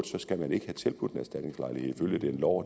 så skal man ikke have tilbudt en erstatningslejlighed ifølge den lov